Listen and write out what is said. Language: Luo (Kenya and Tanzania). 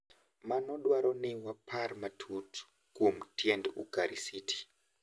Mano dwaro ni wapar matut kuom tiend Ukarisiti, .